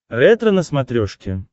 ретро на смотрешке